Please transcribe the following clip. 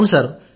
ఔను సార్